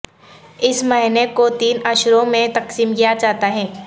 اس مہینے کو تین عشروں میں تقسیم کیا جاتا ہے